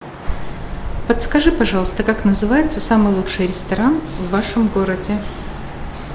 подскажи пожалуйста как называется самый лучший ресторан в вашем городе